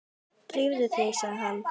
Drífðu þig, sagði hann.